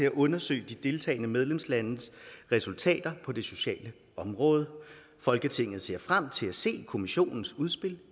at undersøge de deltagende medlemslandes resultater på det sociale område folketinget ser frem til at se kommissionens udspil